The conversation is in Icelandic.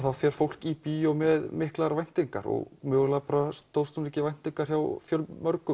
þá fer fólk í bíó með miklar væntingar og mögulega stóðst hún ekki væntingar hjá fjölmörgum